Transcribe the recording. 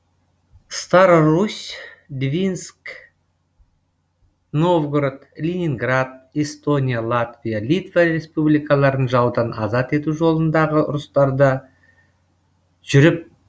старорусь двинск новгород ленинград эстония латвия литва республикаларын жаудан азат ету жолындағы ұрыстарда жүріп